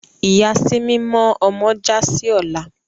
Ìyàsímímọ́ ọmọ já sí ọ́la